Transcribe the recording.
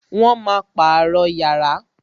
Wọn máa pàrọ̀ yàrá